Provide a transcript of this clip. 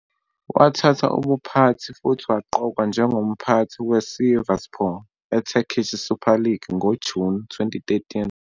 Wathatha ubuphathi futhi waqokwa njengomphathi weSivasspor eTurkish Süper Lig ngoJuni 2013.